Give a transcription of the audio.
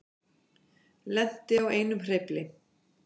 Lenti á einum hreyfli